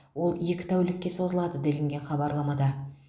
ол екі тәулікке созылады делінген хабарламада